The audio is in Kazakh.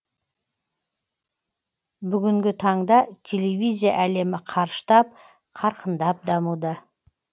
бүгінгі таңда телевизия әлемі қарыштап қарқындап дамуда